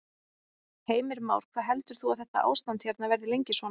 Heimir Már: Hvað heldur þú að þetta ástand hérna verði lengi svona?